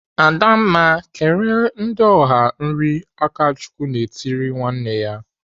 "Adamma, kere ndị ọha nri!" Akachukwu na-etiri nwanne ya.